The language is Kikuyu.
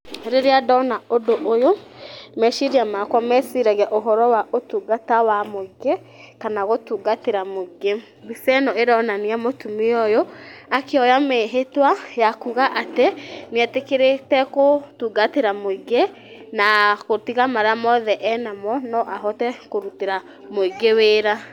Rĩrĩa ndona ũndũ ũyũ meciria makwa meciragia ũhoro wa ũtungata wa mũingĩ, kana gũtungatĩra mũingĩ, mbica ĩno ĩronania mũtumia ũyũ akĩoya mĩhĩtwa ya kuuga atĩ nĩ etĩkĩrĩte gũtungatĩra mũingĩ , na gũtiga marĩa mothe enamo no ahote kũrutĩra mũingĩ wĩra.